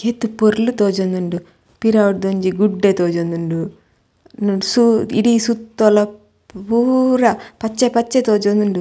ಏತ್ ಪೊರ್ಲು ತೋಜೊಂದುಂಡು ಪಿರವುಡ್ದ್ ಒಂಜಿ ಗುಡ್ಡೆ ತೋಜೊಂದುಂಡು ಸೊ ಇಡಿ ಸುತ್ತಲ ಪೂರ ಪಚ್ಚೆ ಪಚ್ಚೆ ತೋಜೊಂದುಂದು.